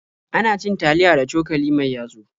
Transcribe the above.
Ana cin taliya da cokali mai yatsu.